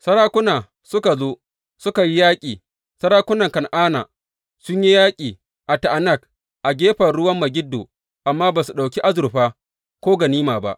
Sarakuna suka zo, suka yi yaƙi; sarakunan Kan’ana sun yi yaƙi a Ta’anak a gefen ruwan Megiddo, amma ba su ɗauki azurfa, ko ganima ba.